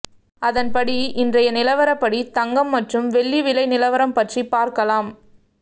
அதன்படி இன்றைய நிலவாறபடி தனகம் மற்றும் வெள்ளி விலை நிலவரம் பற்றி பார்க்கலாம்